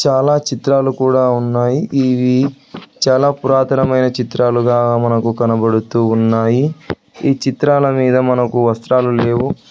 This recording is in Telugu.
చాలా చిత్రాలు కూడా ఉన్నాయి ఇవి చాలా పురాతనమైన చిత్రాలుగా మనకు కనబడుతూ ఉన్నాయి ఈ చిత్రాల మీద మనకు వస్త్రాలు లేవు.